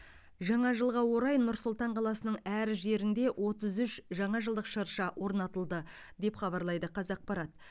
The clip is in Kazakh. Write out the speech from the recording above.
жаңа жылға орай нұр сұлтан қаласының әр жерінде отыз үш жаңажылдық шырша орнатылды деп хабарлайды қазақпарат